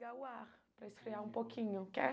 ligar o ar para esfriar um pouquinho, quer?